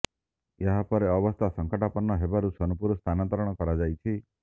ଏହା ପରେ ଅବସ୍ଥା ସଂକଟାପନ୍ନ ହେବାରୁ ସୋନପୁର ସ୍ଥାନାନ୍ତର କରାଯାଇଛି